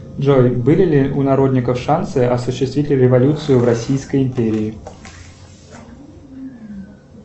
джой были ли у народников шансы осуществить революцию в российской империи